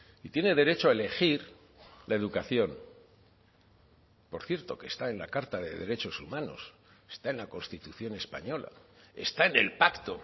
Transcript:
y tiene derecho a elegir la educación por cierto que está en la carta de derechos humanos está en la constitución española está en el pacto